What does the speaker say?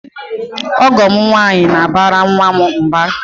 Ọgọ m nwaanyị na-abara nwa m mba.